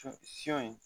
Sɔ in